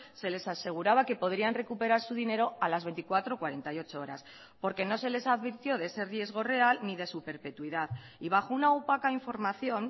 se les aseguraba que podrían recuperar su dinero a las veinticuatro o cuarenta y ocho horas porque no se les advirtió de ese riesgo real ni de su perpetuidad y bajo una opaca información